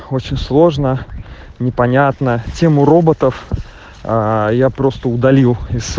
очень сложно непонятно тему роботов я просто удалил из